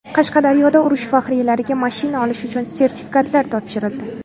Qashqadaryoda urush faxriylariga mashina olish uchun sertifikatlar topshirildi.